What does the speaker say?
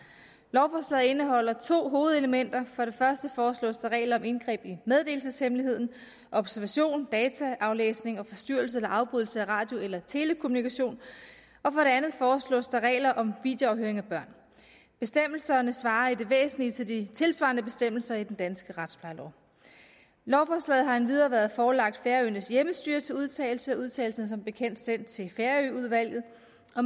lovforslaget indeholder to hovedelementer for det første foreslås der regler om indgreb i meddelelseshemmeligheden observation dataaflæsning og forstyrrelse eller afbrydelse af radio eller telekommunikation og for det andet foreslås der regler om videoafhøring af børn bestemmelserne svarer i det væsentlige til de tilsvarende bestemmelser i den danske retsplejelov lovforslaget har endvidere været forelagt færøernes hjemmestyre til udtalelse og udtalelsen er som bekendt sendt til færøudvalget